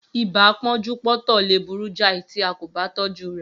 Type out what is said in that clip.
Ibà pọ́njú-pọ́ntọ̀ lè burú jai tí a kò ba tọjú rè